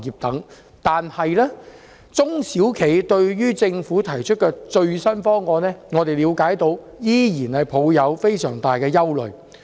但是，據我們了解，中小企對於政府提出的最新方案依然存有非常大的憂慮。